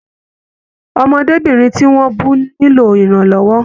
Ọmọdébinrin tí wọn bù nilo iranlọwọ.